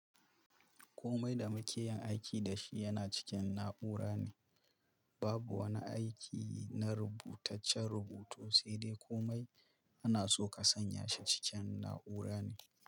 Komai da mukeyin aiki dashi yana cikin na'ura ne. Babu wani aiki na rubutaccen rubutu, sai dai komai ana so ka sanya shi cikin na'ura ne.